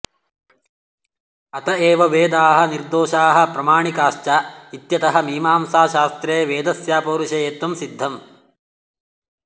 अत एव वेदाः निर्दोषाः प्रामाणिकाश्च इत्यतः मीमांसाशास्त्रे वेदस्यापौरुषेयत्वं सिद्धम्